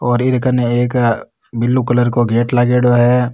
और एरकाने एक ब्लू कलर को गेट लागेड़ो है।